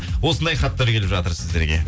осындай хаттар келіп жатыр сіздерге